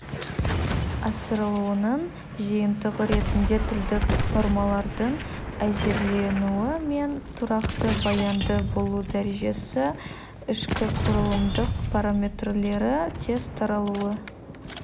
асырылуының жиынтығы ретінде тілдік нормалардың әзірленуі мен тұрақты баянды болу дәрежесі ішкіқұрылымдық параметрлері тез таралуы